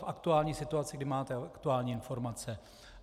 V aktuální situaci, kdy máte aktuální informace.